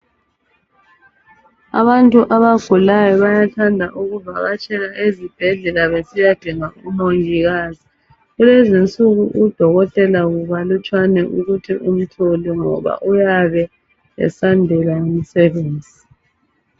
Abantu abagulayo bayathanda ukuvakatshela ezibhedlela besiyadinga umongikazi. Kulezinsuku udokotela kukalutshwana ukuthi umthole ngoba uyabe esandelwa ngumsebenzi.